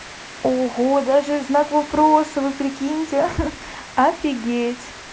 ого даже знак вопроса вы прикиньте офигеть